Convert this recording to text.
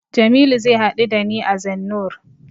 Jamilu zai haɗu da ni a Zennoor.